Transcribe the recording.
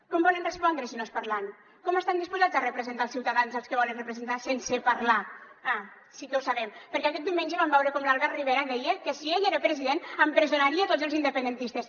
com volen respondre si no és parlant com estan disposats a representat els ciutadans als que volen representar sense parlar ah sí que ho sabem perquè aquest diumenge vam veure com l’albert rivera deia que si ell era president empresonaria tots els independentistes